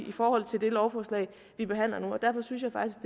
i forhold til det lovforslag vi behandler nu derfor synes jeg faktisk